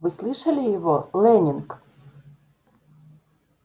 вы слышали его лэннинг